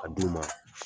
A d'u ma